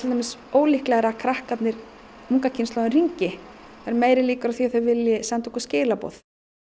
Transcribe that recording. dæmis ólíklegra að krakkarnir unga kynslóðin hringi það eru meiri líkur á því að þau vilji senda okkur skilaboð